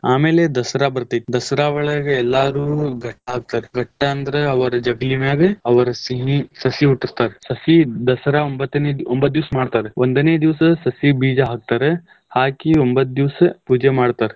ಆಮೇಲೆ ದಸರಾ ಬರ್ತೇತಿ ದಸರಾ ಒಳಗ್ ಎಲ್ಲಾರೂ ಘಟ್ಟ ಹಾಕ್ತಾರ್, ಘಟ್ಟ ಅಂದ್ರ್ ಅವರ ಜಗಲಿಮ್ಯಾಗ ಅವ್ರ ಸಿಹಿ ಸಸಿ ಹುಟ್ಟಸ್ತಾರ್ ಸಸಿ ದಸರಾ ಒಂಬ್ಬತ್ತನೆ ಒಂಬ್ಬತ್ತ್ ದಿವಸ ಮಾಡ್ತಾರ್, ಒಂದನೇ ದಿವಸ ಸಸಿ ಬೀಜಾ ಹಾಕ್ತಾರ್ ಹಾಕಿ ಒಂಭತ್ ದಿವಸ ಪೂಜೆ ಮಾಡ್ತಾರ್.